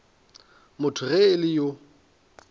motho ge e le yo